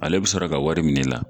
Ale bi sɔrɔ ka wari minɛ i la.